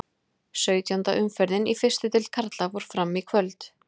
Sautjánda umferðin í fyrstu deild karla fór fram í kvöld.